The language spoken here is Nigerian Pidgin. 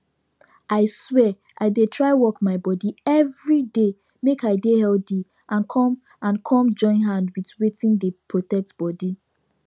i swear i dey try work my body everyday make i dey healthy and come and come join hand with wetin dey protect bodi